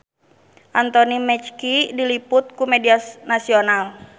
Anthony Mackie diliput ku media nasional